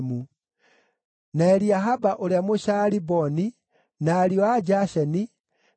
na Eliahaba ũrĩa Mũshaaliboni, na ariũ a Jasheni, na Jonathani